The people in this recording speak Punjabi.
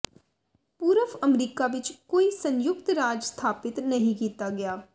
ਪੂਰਵ ਅਮਰੀਕਾ ਵਿੱਚ ਕੋਈ ਸੰਯੁਕਤ ਰਾਜ ਸਥਾਪਿਤ ਨਹੀਂ ਕੀਤਾ ਗਿਆ